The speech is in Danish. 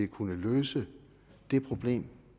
kunne løse det problem